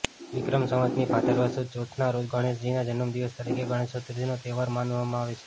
વિક્રમ સંવતની ભાદરવા સુદ ચોથના રોજ ગણેશજીના જન્મદિવસ તરીકે ગણેશ ચતુર્થીનો તહેવાર મનાવવામાં આવે છે